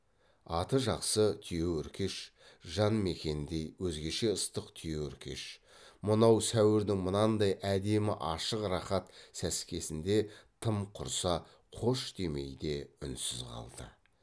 аты жақсы түйеөркеш жан мекеніндей өзгеше ыстық түйеөркеш мынау сәуірдің мынандай әдемі ашық рақат сәскесінде тым құрса қош демей де үнсіз қалды